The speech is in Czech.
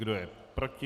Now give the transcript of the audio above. Kdo je proti?